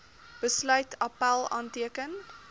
besluit appèl aanteken